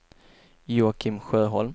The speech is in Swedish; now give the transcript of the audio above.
Joakim Sjöholm